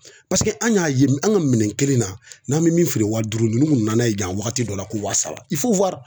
an y'a ye an ka minɛn kelen na n'an bɛ min feere wa duuru ninnu nana ye yan wagati dɔ la ko wa saba